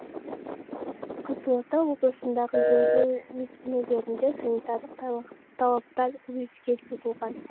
қызылорда облысындағы емдеу мекемелерінде санитарлық талаптар өрескел бұзылған